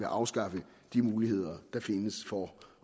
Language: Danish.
afskaffe de muligheder der findes for